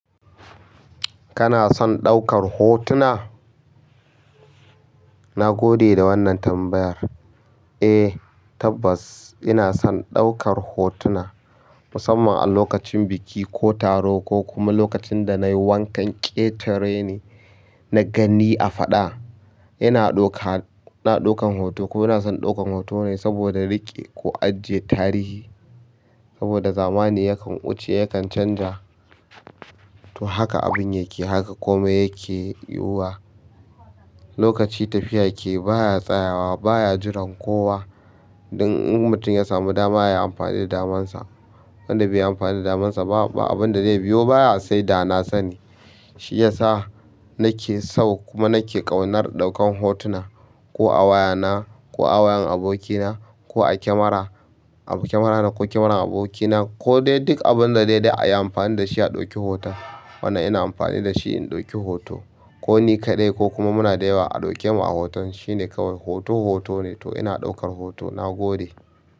Kana son ɗaukar hotuna? Na gode da wannan tambayar. Eh tabbas ina son ɗaukar hotuna musamman a lokacin biki ko taro ko kuma lokacin da nayi wankan ƙetare ni na gani a faɗa. Ina ɗaukan hoto kuma ina son ɗaukan hoto ne saboda riƙe ko ajiye tarihi saboda zamani yakan wuce yakan canja to haka abun yake haka komai yake yiwuwa. Lokaci tafiya ke baya tsayawa baya jiran kowa. In mutum ya sami dama yayi amfani da daman sa wanda bai yi amfani da daman sa ba abinda zai biyo baya sai dana sani. Shi yasa nake so kuma nake ƙaunar ɗaukan hotuna ko a wayana ko a wayan abokina ko a kyamara, a kyamarana ko kyamarar abokina ko dai duk abun da daidai a yi amfani da shi a ɗauki hoto. Wannan ina amfani da shi in ɗauki hoto ko ni kaɗai ko kuma muna da yawa a ɗauke mu a hoton shine kawai hoto hoto ne to ina ɗaukar hoto na gode.